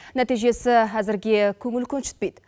нәтижесі әзірге көңіл көншітпейді